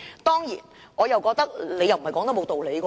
當然，我認為謝議員不無道理。